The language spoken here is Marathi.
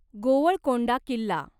गोवळकोंडा किल्ला